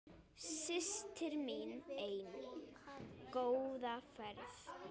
Systir mín ein, góða ferð.